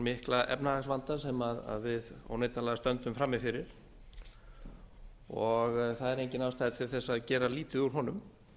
mikla efnahagsvanda sem við óneitanlega stöndum frammi fyrir og það er engin ástæða til að gera lítið úr honum